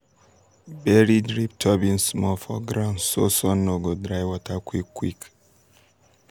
bury drip tubing small for ground so sun no go dry water quick quick.